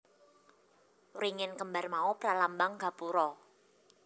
Wringin kembar mau pralambang gapura